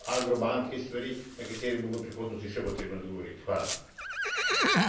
Nekaj tudi delničarjev Agrobanke in še nekaj stvari, na katere bo v prihodnosti še potrebno odgovoriti.